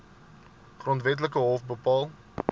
grondwetlike hof bepaal